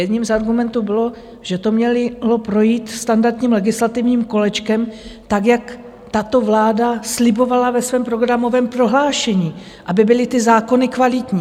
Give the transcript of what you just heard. Jedním z argumentů bylo, že to mělo projít standardním legislativním kolečkem, tak jak tato vláda slibovala ve svém programovém prohlášení, aby byly ty zákony kvalitní.